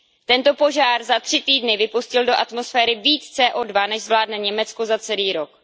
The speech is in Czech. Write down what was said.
Tento požár za tři týdny vypustil do atmosféry víc CO2 než zvládne Německo za celý rok.